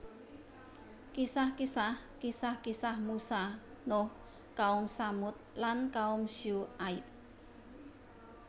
Kisah kisah Kisah kisah Musa Nuh kaum Tsamud lan kaum Syu aib